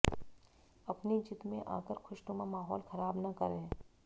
अपनी जिद में आकर खुशनुमा माहौल खराब न करें